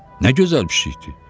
Nə gözəl pişikdir!